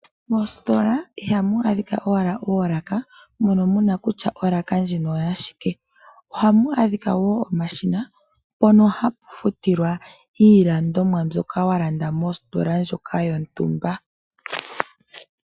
Moositola iha mu adhika owala oolaka mono muna kutya olaka ndjino oya shike, oha mu adhika wo omashina mpono hapu futilwa iilandimwa mbyoka wa landa mositola ndjoka yo ntumba.